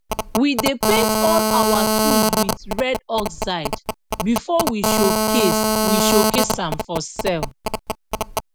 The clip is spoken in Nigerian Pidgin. we dey paint all our tools wit red oxide before we showcase we showcase am for sell